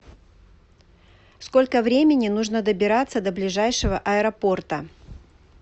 сколько времени нужно добираться до ближайшего аэропорта